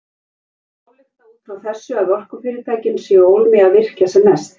En má álykta út frá þessu að orkufyrirtækin séu ólm í virkja sem mest?